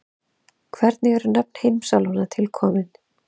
hvernig eru nöfn heimsálfanna til komin